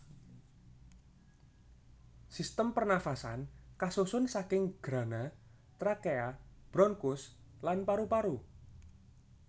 Sistem pernafasan kasusun saking grana trakea bronkus lan paru paru